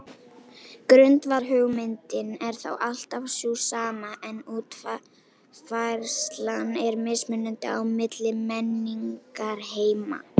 Grundvallarhugmyndin er þá alltaf sú sama en útfærslan er mismunandi á milli menningarheima.